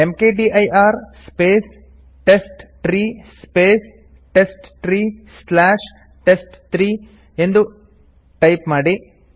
ಮ್ಕ್ದಿರ್ space test three space test three slash test three ಎಂದು type ಮಾಡಿ